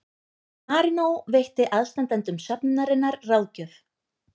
Marínó veitti aðstandendum söfnunarinnar ráðgjöf